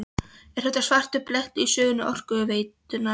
Er þetta svartur blettur í sögu Orkuveitunnar?